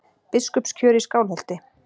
BISKUPSKJÖR Í SKÁLHOLTI